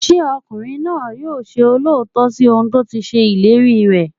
Ṣé ọkùnrin náà yóò ṣe olóòótọ́ sí ohùn tó ti ṣe ìlérí rẹ̀?